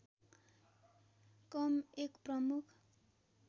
कम एक प्रमुख